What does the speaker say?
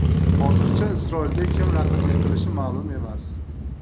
Hozircha Isroilga kim raqiblik qilishi ma’lum emas.